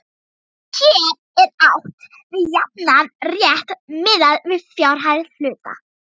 Hér er átt við jafnan rétt miðað við fjárhæð hluta.